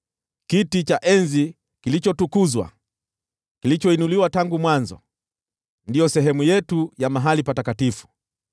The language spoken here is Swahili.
Kiti cha enzi kilichotukuzwa, kilichoinuliwa tangu mwanzo, ndiyo sehemu yetu ya mahali patakatifu.